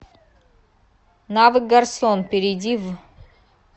навык гарсон перейди в